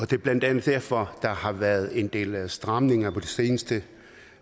det er blandt andet derfor der har været en del af stramningerne på det seneste